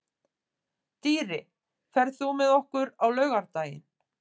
Dýri, ferð þú með okkur á laugardaginn?